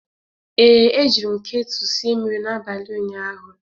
Ee, ejiri m ketu sie mmiri n'abalị ụnyaahụ.